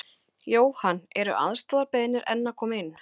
Jóhann: Eru aðstoðarbeiðnir enn að koma inn?